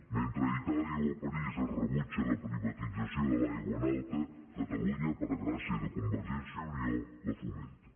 mentre a itàlia o a parís es rebutja la privatització de l’aigua en alta catalunya per gràcia de convergència i unió la fomenta